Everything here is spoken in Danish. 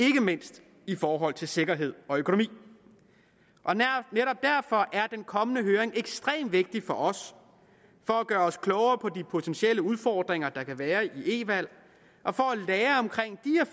ikke mindst i forhold til sikkerhed og økonomi netop derfor er den kommende høring ekstremt vigtig for os for at gøre os klogere på de potentielle udfordringer der kan være ved e valg og for at lære